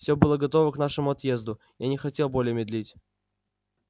вс было готово к нашему отъезду я не хотел более медлить